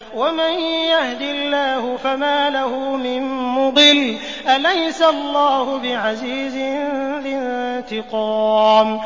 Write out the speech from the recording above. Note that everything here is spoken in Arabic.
وَمَن يَهْدِ اللَّهُ فَمَا لَهُ مِن مُّضِلٍّ ۗ أَلَيْسَ اللَّهُ بِعَزِيزٍ ذِي انتِقَامٍ